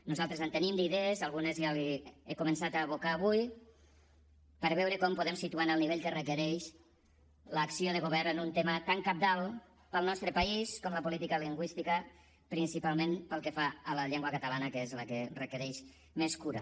nosaltres en tenim d’idees algunes ja les hi he començat a abocar avui per veure com podem situar en el nivell que requereix l’acció de govern en un tema tan cabdal per al nostre país com la política lingüística principalment pel que fa a la llengua catalana que és la que requereix més cura